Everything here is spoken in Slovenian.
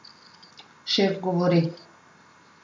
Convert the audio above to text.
Šef govori.